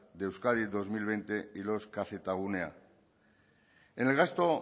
de euskadi dos mil veinte y los kzgunea en el gasto